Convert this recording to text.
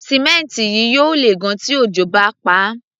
Símẹ́ǹtì yìí yóò lè gan-an tí òjò bá paá.